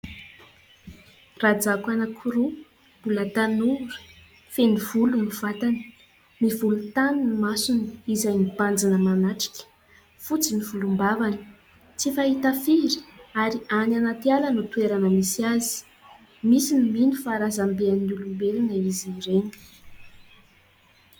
Rajako anankiroa mbola tanora, feno volo ny vatany, mivolontany ny masony izay mibanjina manatrika, fotsy ny volombavany, tsy fahita firy ary any anaty ala no toerana misy azy. Misy no mino fa razamben'ny olombelona izy ireny.